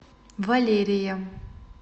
валерия